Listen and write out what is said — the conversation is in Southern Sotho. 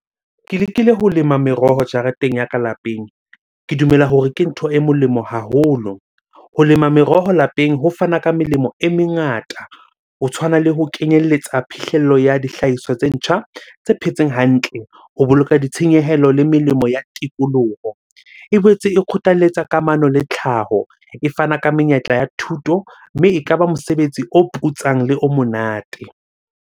Ke lekile ho lema meroho jareteng ya ka lapeng, ke dumela hore ke ntho e molemo haholo. Ho lema meroho lapeng ho fana ka melemo e mengata ho tshwana le ho kenyelletsa phihlello ya dihlahiswa tse ntjha tse phetseng hantle ho boloka ditshenyehelo le melemo ya tikoloho. E boetse e kgothalletsa kamano le tlhaho. E fana ka menyetla ya thuto mme ekaba mosebetsi o putsang, le o monate.